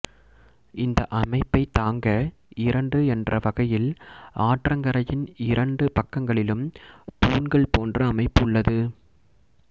இந்த அமைப்பை தாங்க இரண்டு என்ற வகையில் ஆற்றங்கரையின் இரண்டு பக்கங்களிலும் தூண்கள் போன்ற அமைப்பு உள்ளது